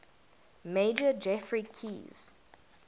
major geoffrey keyes